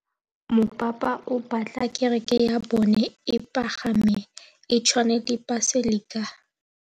Mopapa o batla kereke ya bone e pagame, e tshwane le paselika.